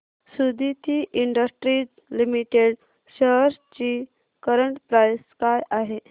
Suditi industries limited shares ची current price काय आहे